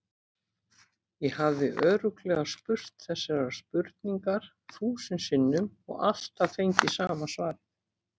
Ég hafði örugglega spurt þessarar spurningar þúsund sinnum og alltaf fengið sama svarið.